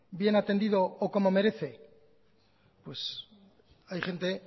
bien atendido o como merece pues hay gente